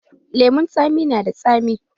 Lemun tsami na da tsami.